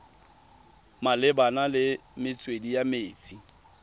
malebana le metswedi ya metsi